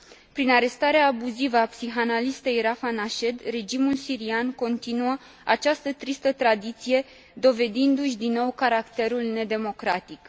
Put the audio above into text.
Prin arestarea abuzivă a psihanalistei Rafah Nached, regimul sirian continuă această tristă tradiție, dovedindu și din nou caracterul nedemocratic.